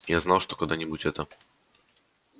я знал что когда-нибудь это